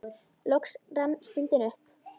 Loks rann stundin upp.